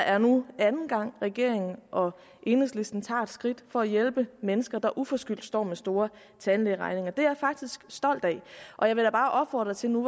er nu anden gang at regeringen og enhedslisten tager et skridt for at hjælpe mennesker der uforskyldt står med store tandlægeregninger det er jeg faktisk stolt af og jeg vil da bare opfordre til nu